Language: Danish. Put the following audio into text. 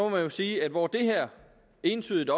man sige at hvor det her entydigt